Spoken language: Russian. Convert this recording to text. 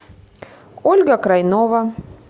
ольга крайнова